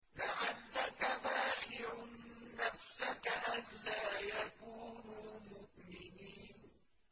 لَعَلَّكَ بَاخِعٌ نَّفْسَكَ أَلَّا يَكُونُوا مُؤْمِنِينَ